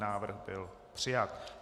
Návrh byl přijat.